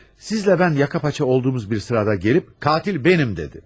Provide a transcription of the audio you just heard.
Sizlə mən yaka paça olduğumuz bir sırada gəlib katil mənəm dedi.